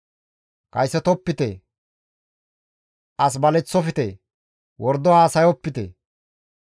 « ‹Kaysotopite; as baleththofte; wordo haasayopite;